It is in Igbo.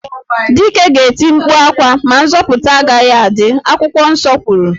Dike ga-eti mkpu ákwà ma nzọputa agaghị adị, akwụkwọ nsọ kwuru